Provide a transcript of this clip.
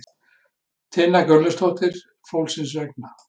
Tinna Gunnlaugsdóttir: Fólksins vegna?